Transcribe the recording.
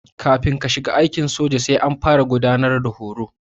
Kafin ka shiga aikin soja sai an fara gudanar da horo.